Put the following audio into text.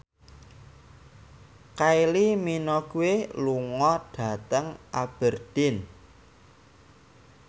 Kylie Minogue lunga dhateng Aberdeen